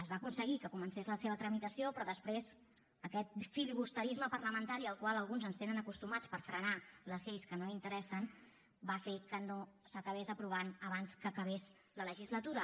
es va aconseguir que comencés la seva tramitació però després aquest filibusterisme parlamentari al qual alguns ens tenen acostumats per frenar les lleis que no interessen va fer que no s’acabés aprovant abans que acabés la legislatura